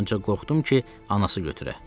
Ancaq qorxdum ki, anası götürə.